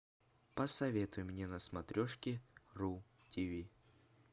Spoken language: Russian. посоветуй мне на смотрешке ру тв